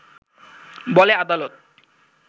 বলে আদালত